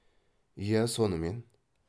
иә сонымен